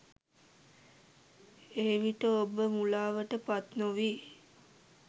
එවිට ඔබ මුලාවට පත් නොවී